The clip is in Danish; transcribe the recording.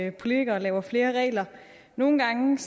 at politikerne laver flere regler nogle gange